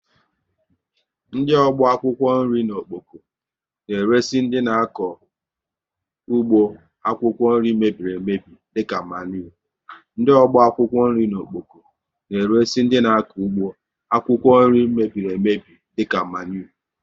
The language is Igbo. Ndị ọgbọ akwụkwọ nri n'Okpoko na eresi dị n' akọ ụgbọ akwụkwọ nri mebiri emebi dịka maniure